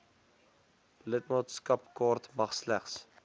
lidmaatskapkaart mag slegs